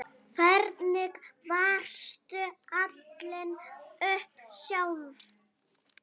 Hvernig varstu alin upp sjálf?